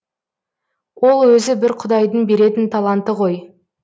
ол өзі бір құдайдың беретін таланты ғой